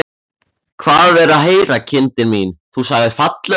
Hvað er að heyra, kindin mín, þú sagðir fallöxi.